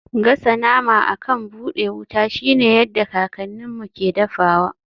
Gasa nama akan buɗe wuta shine yadda kakanninmu ke dafawa.